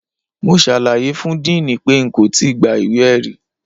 Mo ṣàlàyé fún diini pé n kò tí gba ìwé-ẹ̀rí.